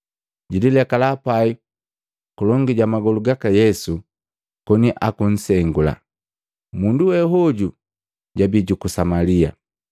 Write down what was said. Jililekala pai kulongi ja magolu gaka Yesu koni akunsengula. Mundu we hoju jabii juku Samalia.